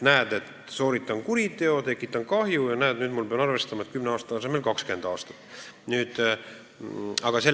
Aga jah, sooritan kuriteo, tekitan kahju ja nüüd ma pean arvestama, et kümne aasta asemel kehtib see nõue 20 aastat.